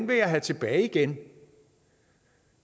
vil jeg have tilbage igen